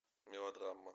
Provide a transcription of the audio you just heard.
мелодрама